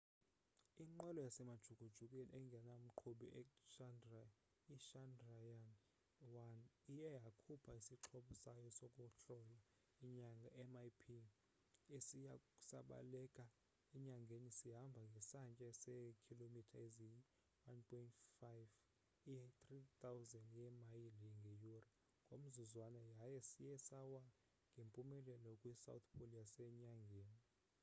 inqwelo yasemajukujukwini engena mqhubi ichandrayaan-1 iye yakhupha isixhobo sayo sokuhlola inyanga mip esiye sabaleka enyangeni sihamba ngesantya seekhilomitha eziyi-1.5 i-3000 yeemayile ngeyure ngomzuzwana yaye siye sawa ngempumelelo kwi-south pole yasenyangeni